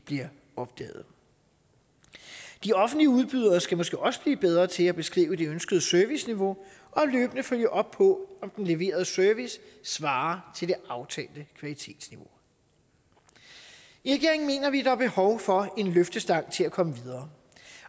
bliver opdaget de offentlige udbydere skal måske også blive bedre til at beskrive det ønskede serviceniveau og løbende følge op på om den leverede service svarer til det aftalte kvalitetsniveau i regeringen mener vi der er behov for en løftestang til at komme videre